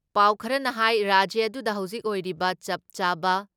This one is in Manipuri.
ꯄꯥꯎ ꯈꯔꯅ ꯍꯥꯏ ꯔꯥꯖ꯭ꯌ ꯑꯗꯨꯗ ꯍꯧꯖꯤꯛ ꯑꯣꯏꯔꯤꯕ ꯆꯞ ꯆꯥꯕ